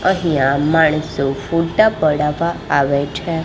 અહીંયા માણસો ફોટા પડાવા આવે છે.